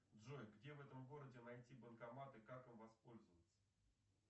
джой где в этом городе найти банкомат и как им воспользоваться